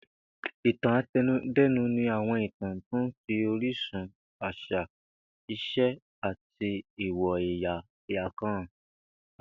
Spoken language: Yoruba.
Ìtàn ate̩nudé̩nu ni àwo̩n ìtàn tó ń fi orísun, às̩à, ìs̩e àti èwò̩ è̩yà kan hàn